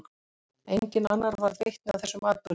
Enginn annar varð vitni að þessum atburði.